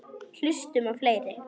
Hlustum á fleiri!